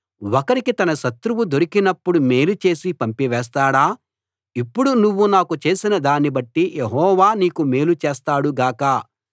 ఒకరికి తన శత్రువు దొరికినప్పుడు మేలు చేసి పంపివేస్తాడా ఇప్పుడు నువ్వు నాకు చేసిన దాన్ని బట్టి యెహోవా నీకు మేలు చేస్తాడు గాక